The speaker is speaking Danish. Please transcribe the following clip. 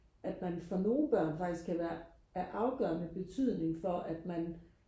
at for nogle børn faktisk kan være af afgørende betydning for at man